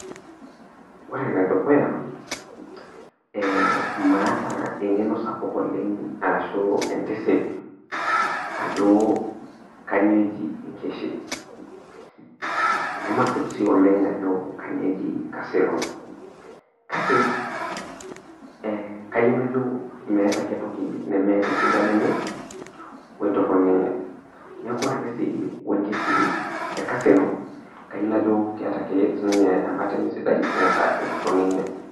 Ore enedukuya ee maata engenosapuk oleng ashu entisip ajo kanyio eji enkeshi, namasip si oleng ajo kanyio eji casino kakebeebkayieu najobmeeta ake entoki nemeeta esidano enye wentoroni enye, neaku ore si enkeshi te casino kayieu najo keeta ake sinye embata enye sidai neeta entoroni enye.